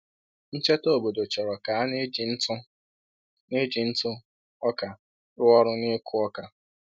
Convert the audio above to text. Ncheta obodo chọrọ ka a na-eji ntụ na-eji ntụ ọka rụ ọrụ n’ịkụ oka